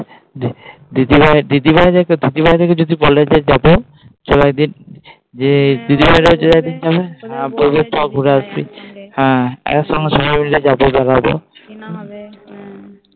দিদিভাই দিদিভাই যদি বলে যে যাবো চল একদিন বলবে চল ঘুরে আসবি একসঙ্গে সবাই মিলে যাবো